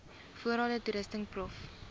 voorrade toerusting prof